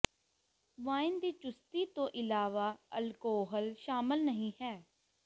wine ਦੀ ਚੁਸਤੀ ਤੋਂ ਇਲਾਵਾ ਅਲਕੋਹਲ ਸ਼ਾਮਲ ਨਹੀਂ ਹੈ